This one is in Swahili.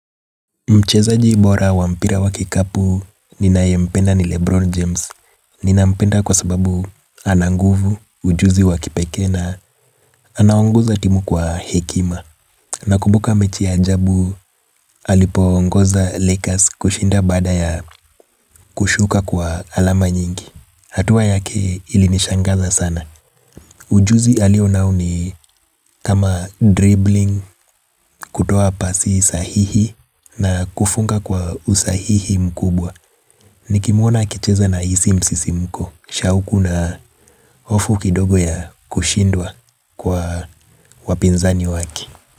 Mchezaji bora wa mpira wa kikapu ninayempenda ni Lebron James. Ninampenda kwa sababu ana nguvu ujuzi wakipekee na anaongoza timu kwa hekima. Nakumbuka mechi ajabu alipoongoza lekas kushinda baada ya kushuka kwa alama nyingi. Hatua yake ilinishangaza sana. Ujuzi alio nao ni kama dribbling kutoa pasi sahihi na kufunga kwa usahihi mkubwa. Nikimuona akicheza nahisi msisimko, shauku na hofu kidogo ya kushindwa kwa wapinzani wake.